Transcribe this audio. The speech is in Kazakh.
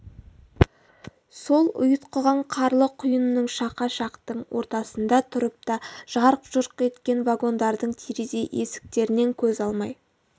сол ұйтқыған қарлы құйынның шақа шақтың ортасында тұрып та жарқ-жұрқ еткен вагондардың терезе есіктерінен көз алмай